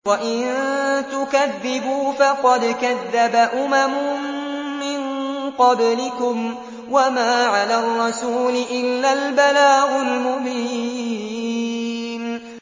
وَإِن تُكَذِّبُوا فَقَدْ كَذَّبَ أُمَمٌ مِّن قَبْلِكُمْ ۖ وَمَا عَلَى الرَّسُولِ إِلَّا الْبَلَاغُ الْمُبِينُ